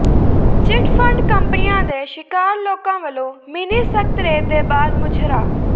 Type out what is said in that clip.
chit fund ਕੰਪਨੀਆਂ ਦੇ ਸ਼ਿਕਾਰ ਲੋਕਾਂ ਵਲੋਂ ਮਿੰਨੀ ਸਕੱਤਰੇਤ ਦੇ ਬਾਹਰ ਮੁਜ਼ਾਹਰਾ